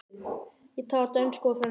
Ég tala dönsku og frönsku.